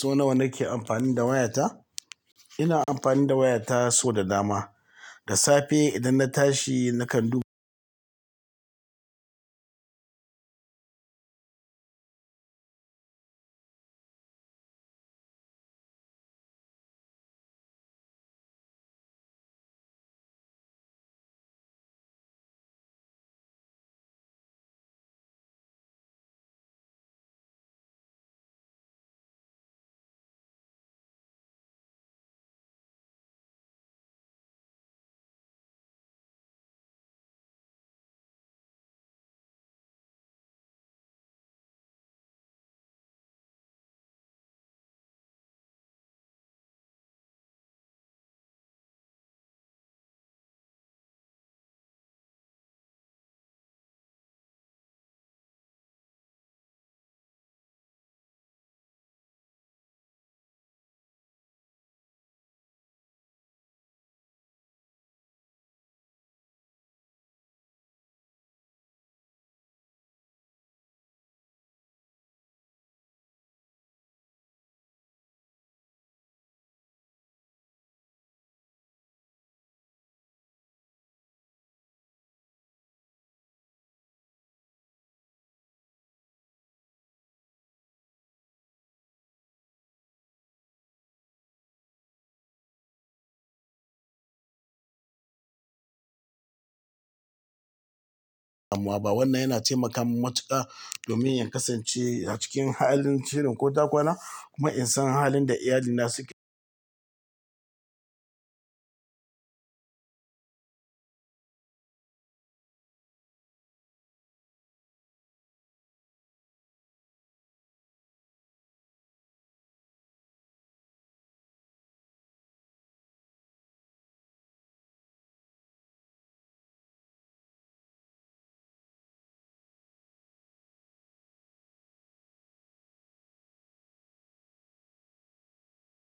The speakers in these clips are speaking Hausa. So nawa nake amfani da wayata? Ina amfani da wayata sau da dama. Da safe idan na tashi nakan dubi wannan yana taimaka mun matuƙa domin in kasance a cikin halin shirin ƙota ƙwana kuma in san halin da iyalina suke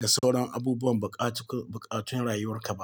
da sauran abubuwan buƙatu-buƙatun rayuwarka ba.